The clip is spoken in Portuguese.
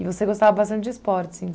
E você gostava bastante de esportes,